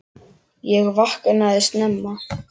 Ég vaknaði snemma.